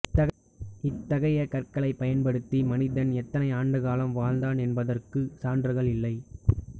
இத்தகைய கற்களைப் பயன்படுத்தி மனிதன் எத்தனை ஆண்டுகாலம் வாழ்ந்தான் என்பதற்கு சான்றுகள் இல்லை